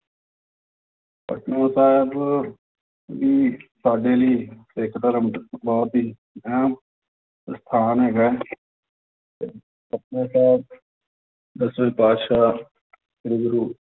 ਪਟਨਾ ਸਾਹਿਬ ਵੀ ਸਾਡੇ ਲਈ ਸਿੱਖ ਧਰਮ ਬਹੁਤ ਹੀ ਅਹਿਮ ਅਸਥਾਨ ਹੈਗਾ ਹੈ ਤੇ ਪਟਨਾ ਸਾਹਿਬ ਦਸਵੇਂ ਪਾਤਿਸ਼ਾਹ ਸ੍ਰੀ ਗੁਰੂ